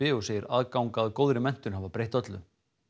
og segir aðgang að góðri menntun hafa breytt öllu